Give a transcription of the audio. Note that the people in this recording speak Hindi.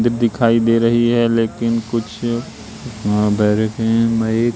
दिखाई दे रही है लेकिन कुछ अह